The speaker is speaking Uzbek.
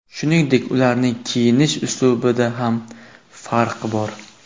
Shuningdek, ularning kiyinish uslubida ham farq bor.